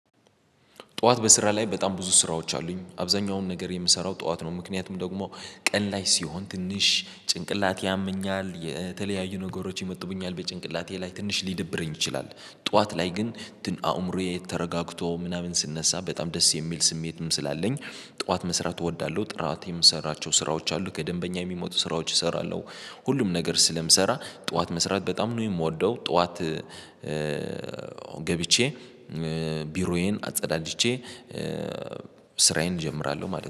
ጠዋት በስራ ላይ በጣም ብዙ ስራዎች አሉኝ አብዛኛውን ነገር የምሰራው ጠዋት ነው ምክንያቱም ደግሞ ቀን ላይ ሲሆን ትንሽ ጭንቅላቴ ያመኛል የተለያዩ ነገሮች ይወጡሩኛል በጭንቅላቴ ላይ ትንሽ ሊደብረኝ ይችላል። ጠዋት ላይ ግን አምሮየ ተረጋገቶ ምናምን ስነሳ በጣም ደስ የሚል ስሜትም ስላለኝ ጥዋት መስራት እወዳለሁ። ጥዋት የምሰራቸው ስራዎች አሉ ከደንበኛ የሚመጡ ስራዎች እሰራለሁ። ሁሉም ነገር ስለምሰራ ጠዋት መስራት በጣም ነው የምወደው ጠዋት። ገብቼ ቢሮዬን አጸዳድቼ ስራዬን እጀምራለሁ ማለት